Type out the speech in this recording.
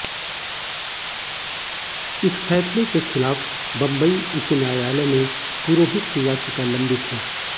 इस फैसले के खिलाफ बंबई उच्च न्यायालय में पुरोहित की याचिका लंबित है